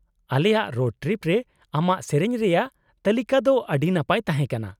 -ᱟᱞᱮᱭᱟᱜ road trip ᱨᱮ ᱟᱢᱟᱜ ᱥᱮᱹᱨᱮᱹᱧ ᱨᱮᱭᱟᱜ ᱛᱟᱹᱞᱤᱠᱟ ᱫᱚ ᱟᱹᱰᱤ ᱱᱟᱯᱟᱭ ᱛᱟᱦᱮᱸ ᱠᱟᱱᱟ ᱾